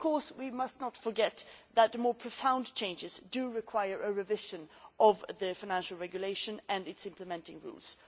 We must not forget that the more profound changes do require a revision of the Financial Regulation and its implementing rules.